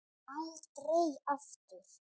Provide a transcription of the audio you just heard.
Aldrei aftur.